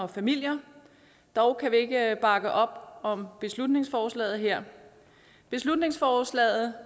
og familier dog kan vi ikke bakke op om beslutningsforslaget her beslutningsforslaget